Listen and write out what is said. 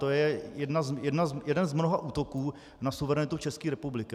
To je jeden z mnoha útoků na suverenitu České republiky.